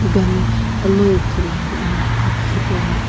Dukan alou ithuluani ena aki hipaula.